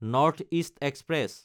north east express